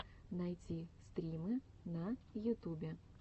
найти стримы на ютубе